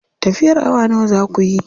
Tafiyar awa nawa za kuyi?